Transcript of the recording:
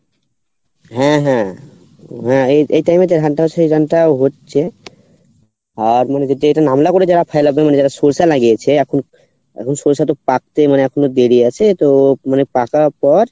হ্যাঁ হ্যাঁ হ্যাঁ এই এই time এ হচ্ছে যারা সর্ষা লাগিয়েছে এখন, এখন সর্ষাটা পাকতে মানে এখনো দেরি আছে তো মানে পাকার পর